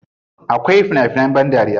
Akwai fina finan ban dariya.